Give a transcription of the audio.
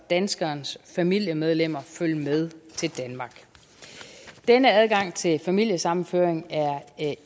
danskerens familiemedlemmer følge med til danmark denne adgang til familiesammenføring er